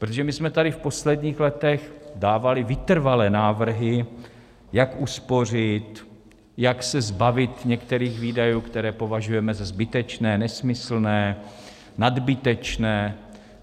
Protože my jsme tady v posledních letech dávali vytrvale návrhy, jak uspořit, jak se zbavit některých výdajů, které považujeme za zbytečné, nesmyslné, nadbytečné.